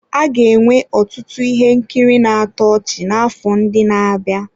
A ga-enwe ọtụtụ ihe nkiri na-atọ ọchị n'afọ ndị na-abịa.